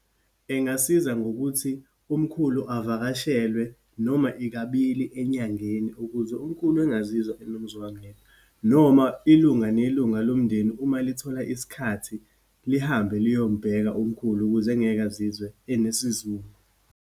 Engasiza ngokuthi umkhulu avakashelwe noma yikabili enyangeni, ukuze umkhulu engazizwa enomuzwangedwa. Noma ilunga nelunga lomndeni, uma lithola isikhathi, lihambe liyombheka umkhulu ukuze engeke azizwe enesizungu.